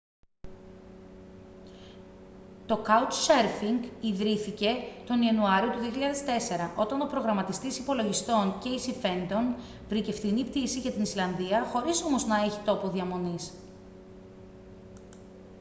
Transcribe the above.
το couchsurfing ιδρύθηκε τον ιανουάριο του 2004 όταν ο προγραμματιστής υπολογιστών κέισι φέντον βρήκε φθηνή πτήση για την ισλανδία χωρίς όμως να έχει τόπο διαμονής